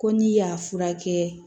Ko n'i y'a furakɛ